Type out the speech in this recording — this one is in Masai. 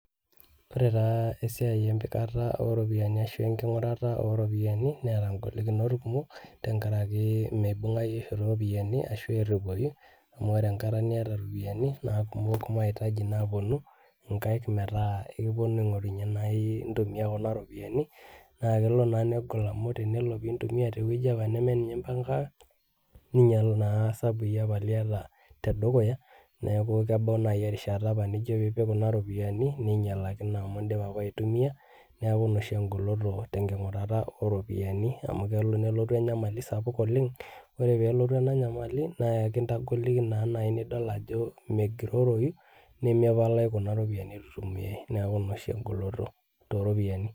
Ore taa esiai empikata oropiyiani ashu enking'urata oropiyiani, neeta golikinot tenkaraki meibung'ayu oshi ropiyiani ashu erripoyu, amu ore enkata niata ropiyiani, na kumok mahitaji naponu inkaik metaa ekiponu aing'orunye nai ntumia kuna ropiyiani, na kelo naa negol amu tenelo pintumia tewueji nemeninye impangaka, ninyal naa sabui apa liata tedukuya, neeku kebau nai erishata apa nijo pipik kuna ropiyiani, ninyalakino amu dipa apa aitumia, neeku ina oshi egoloto tenking'urata ropiyiani, amu kelo nelotu enyamali sapuk oleng, ore pelotu ena nyamali, naa enkindagoliki naa nai nidol ajo megiroroyu, nemepalayu kuna ropiyiani itu itumiai. Neeku ina oshi egoloto toropiyiani.